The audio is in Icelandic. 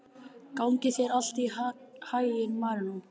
Gangi þér allt í haginn, Marínó.